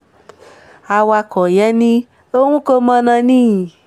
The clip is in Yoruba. awakọ̀ yẹn ni òun kọ mọ̀nà ni